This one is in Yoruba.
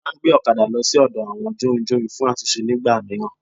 A máa ngbé òkadà lo sódò àwọn jórinjórin fún àtúnse nígbà míràn